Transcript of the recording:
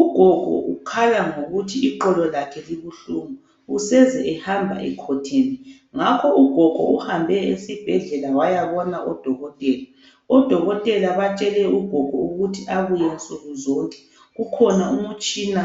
Ugogo ukhala ngokuthi iqolo lakhe libuhlungu useze ehamba ekhotheme ngakho ugogo uhambe esiibhedlela wayabona odokotela. Odokotela batshele ugogo ukuthi abuye nsukuzonke kukhona umtshina